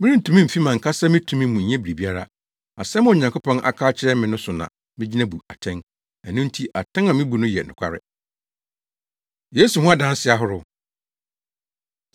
Merentumi mfi mʼankasa me tumi mu nyɛ biribiara; asɛm a Onyankopɔn aka akyerɛ me no so na migyina bu atɛn. Ɛno nti atɛn a mibu no yɛ nokware. Yesu Ho Adansedi Ahorow